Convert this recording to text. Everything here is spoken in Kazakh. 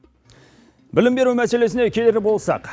білім беру мәселесіне келер болсақ